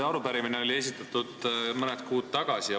Arupärimise esitasime mõned kuud tagasi.